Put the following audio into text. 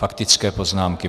Faktické poznámky.